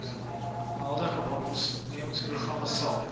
huidige waarnemersprogram sal